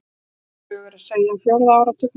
Svipaða sögu er að segja af fjórða áratugnum.